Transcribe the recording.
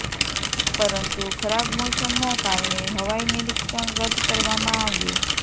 પરંતુ ખરાબ મોસમના કારણે હવાઇ નિરિક્ષણ રદ કરવામાં આવ્યું